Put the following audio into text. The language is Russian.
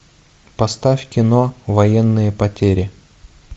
поставь кино военные потери